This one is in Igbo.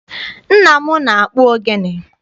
Nna m na-akpụ ogene.